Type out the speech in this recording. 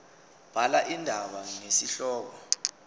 bhala indaba ngesihloko